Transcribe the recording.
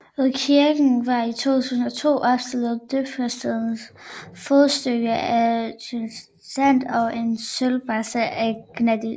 Ved kirken var i 2002 opstillet døbefontens fodstykke af granit og en søjlebase af granit